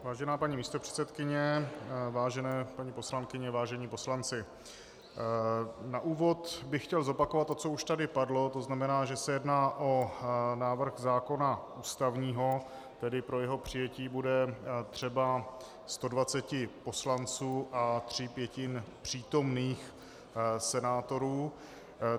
Vážená paní místopředsedkyně, vážené paní poslankyně, vážení poslanci, na úvod bych chtěl zopakovat to, co už tady padlo, to znamená, že se jedná o návrh zákona ústavního, tedy pro jeho přijetí bude třeba 120 poslanců a tří pětin přítomných senátorů.